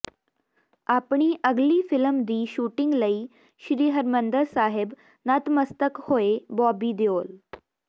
ਆਪਣੀ ਅਗਲੀ ਫ਼ਿਲਮ ਦੀ ਸ਼ੂਟਿੰਗ ਲਈ ਸ੍ਰੀ ਹਰਿਮੰਦਰ ਸਾਹਿਬ ਨਤਮਸਤਕ ਹੋਏ ਬੌਬੀ ਦਿਓਲ